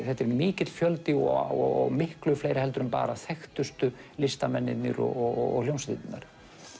þetta er mikill fjöldi og miklu fleiri en bara þekktustu listamennirnir og hljómsveitirnar